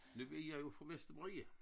Det ved jeg jo fra Vestermarie